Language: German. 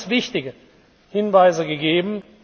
Sie haben uns wichtige Hinweise gegeben.